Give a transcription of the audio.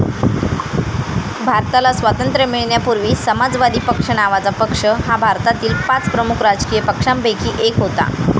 भारताला स्वातंत्र्य मिळण्यापूर्वी समाजवादी पक्ष नावाचा पक्ष हा भारतातील पाच प्रमुख राजकीय पक्षांपैकी एक होता.